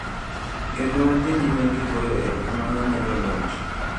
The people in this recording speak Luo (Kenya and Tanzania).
kendo wadhi nyime gi goyo erokamano ne joloch